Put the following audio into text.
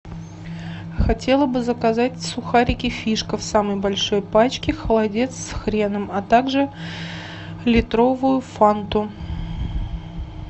хотела бы заказать сухарики фишка в самой большой пачке холодец с хреном а так же литровую фанту